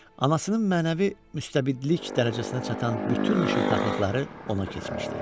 Anasının mənəvi müstəbidlik dərəcəsinə çatan bütün şıltaqlıqları ona keçmişdi.